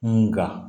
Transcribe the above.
Nga